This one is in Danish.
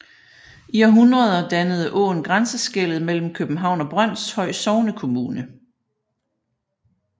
I århundreder dannede åen grænseskellet mellem København og Brønshøj Sognekommune